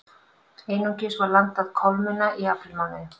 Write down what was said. Einungis var landað kolmunna í aprílmánuði